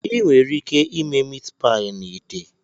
Ị nwere ike ime Meatpie na ite.